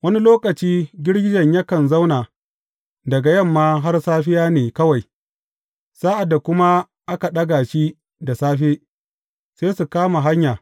Wani lokaci girgijen yakan zauna daga yamma har safiya ne kawai, sa’ad da kuma aka ɗaga shi da safe, sai su kama hanya.